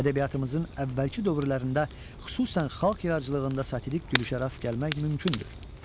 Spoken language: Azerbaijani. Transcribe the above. Ədəbiyyatımızın əvvəlki dövrlərində xüsusən xalq yaradıcılığında satirik gülüşə rast gəlmək mümkündür.